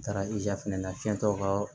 N taara ija fɛnɛ na fiyɛtaw ka